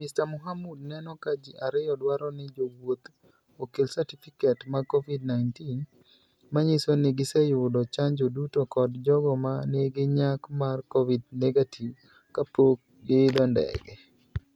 Mr Muhamud neno ka ji ariyo dwaro ni jowuoth okel satifiket mag Covid-19 manyiso ni giseyudo chanjo duto kod jogo ma nigi nyak mag Covid-ve kapok giidho ndege.